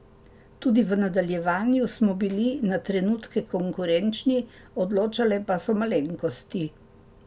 Tudi v nadaljevanju smo bili na trenutke konkurenčni, odločale pa so malenkosti.